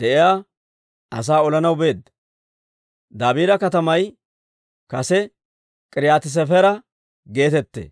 de'iyaa asaa olanaw beedda. Dabiira katamay kase K'iriyaati-Sefera geetettee.